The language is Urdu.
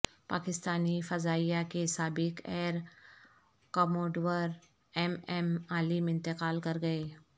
پاکستانی فضائیہ کے سابق air commodore M M Alam انتقال کر گئے